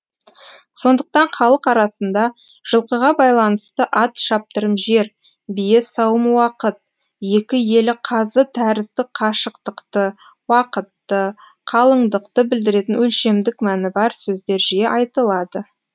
сондықтан халық арасында жылқыға байланысты ат шаптырым жер бие сауым уақыт екі елі қазы тәрізді қашықтықты уақытты қалыңдықты білдіретін өлшемдік мәні бар сөздер жиі айтылады